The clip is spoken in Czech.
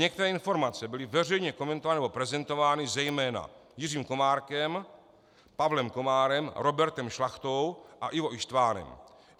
Některé informace byly veřejně komentovány nebo prezentovány zejména Jiřím Komárkem, Pavlem Komárem, Robertem Šlachtou a Ivo Ištvanem.